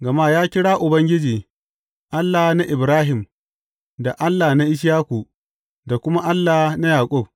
Gama ya kira Ubangiji, Allah na Ibrahim, da Allah na Ishaku, da kuma Allah na Yaƙub.’